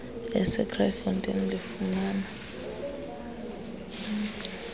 ese kraaifontein lifumana